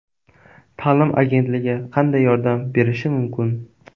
Ta’lim agentligi qanday yordam berishi mumkin?